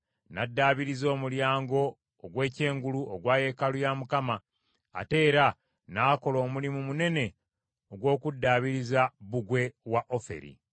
N’addaabiriza Omulyango ogw’Ekyengulu ogwa yeekaalu ya Mukama , ate era n’akola omulimu munene ogw’okuddaabiriza bbugwe wa Oferi.